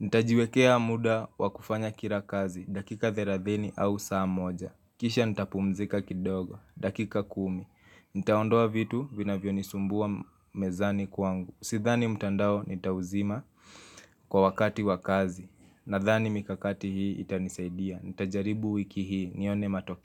ntajiwekea muda wakufanya kila kazi dakika 30 au saa moja. Kisha nitapumzika kidogo, dakika kumi Nitaondoa vitu vinavyo nisumbua mezani kwangu Sidhani mtandao nitauzima kwa wakati wakazi Nadhani mikakati hii itanisaidia Nitajaribu wiki hii nione matokeo.